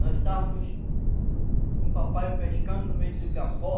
Nós estávamos com o papai pescando no meio do igapó.